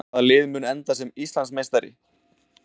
Hvaða lið mun enda sem Íslandsmeistari?